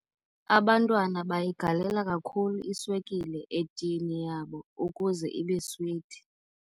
Abantwana bayigalela kakhulu iswekile etini yabo ukuze ibe switi.